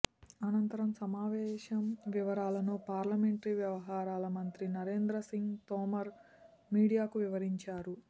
అనంతరం సమావేశం వివరాలను పార్లమెంటరీ వ్యవహారాల మంత్రి నరేంద్ర సింగ్ తోమర్ మీడియాకు వివరించారు